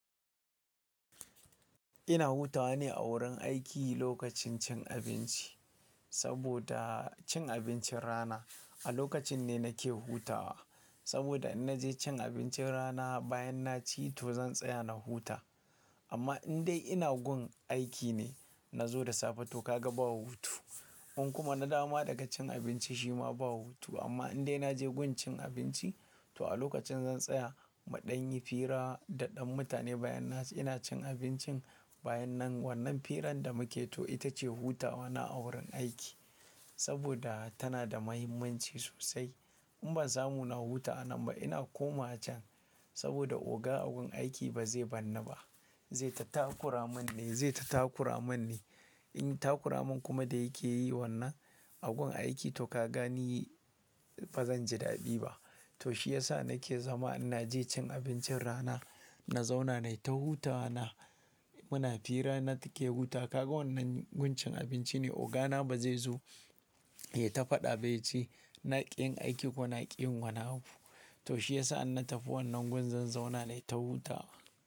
Ina hutawa ne a wurin aiki lokacin cin abinci saboda cin abincin rana a lokacin ne nake hutawa. Saboda in naje cin abincin rana bayan na ci to zan tsaya na huta. Amma in dai ina gun aiki ne na zo da safe to ka ga ba hutu. In kuma na dawo ma daga cin abinci shi ma ba hutu. Amma in dai naje gun cin abinci to a lokacin zan tsaya, muɗan yi fira da ɗan mutane bayan ina cin abincin bayan nan wannan firan da muke to ita ce hutawa na a wurin aiki saboda tana da mahimmanci sosai. In ban samu na huta a nan ba ina koma can saboda oga a gun aiki ba zai bar ni ba. Zai ta takura mun ne, zai ta takura mun ne. In takura mun kuma da yake yi wannan a gun aiki to ka gani ba zan ji daɗi ba. To shi yasa nake zama ina je cin abincin rana, na zauna nai ta hutawa na. Muna fira na take huta. Ka ga wannan gun cin abinci ne oga na ba zai zo ya ta faɗa ba ya ce "na ƙin aiki ko na ƙi yin wani abu". To shi yasa in na tafi wannan gun zan zauna nai ta hutawa.